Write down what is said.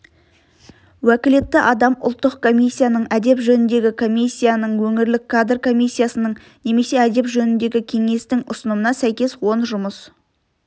уәкілетті адам ұлттық комиссияның әдеп жөніндегі комиссияның өңірлік кадр комиссиясының немесе әдеп жөніндегі кеңестің ұсынымына сәйкес он жұмыс